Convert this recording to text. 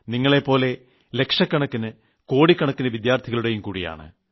നിങ്ങളെപ്പോലെ ലക്ഷകണക്കിന് കോടിക്കണക്കിന് വിദ്യാർത്ഥികളുടെയുംകൂടിയാണ്